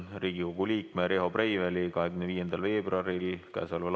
Riigikogu liikme Riho Breiveli 25. veebruaril s.